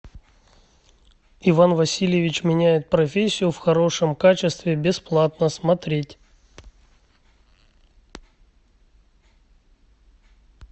иван васильевич меняет профессию в хорошем качестве бесплатно смотреть